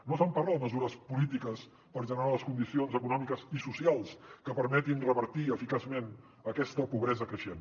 no se’n parla de mesures polítiques per generar les condicions econòmiques i socials que permetin revertir eficaçment aquesta pobresa creixent